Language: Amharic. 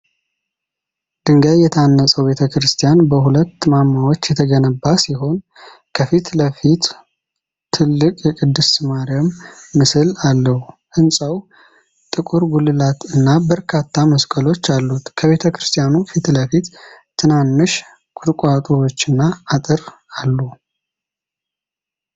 ድንጋይ የታነጸው ቤተክርስቲያን በሁለት ማማዎች የተገነባ ሲሆን፣ ከፊት ለፊቱ ትልቅ የቅድስት ማርያም ምስል አለው። ሕንፃው ጥቁር ጉልላት እና በርካታ መስቀሎች አሉት። ከቤተክርስቲያኑ ፊት ለፊት ትናንሽ ቁጥቋጦዎችና አጥር አሉ።